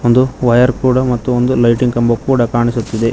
ಒಂದು ವಯರ್ ಕೂಡ ಮತ್ತು ಒಂದು ಲೈಟಿಂಗ್ ಕಂಬ ಕೂಡ ಕಾಣಿಸುತ್ತಿದೆ.